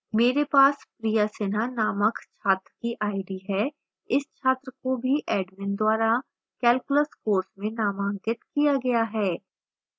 मेरे पास priya sinha नामक छात्र की id है